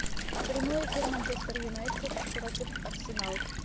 прямой эфир манчестер юнайтед против арсенал